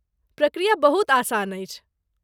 प्रक्रिया बहुत आसान अछि।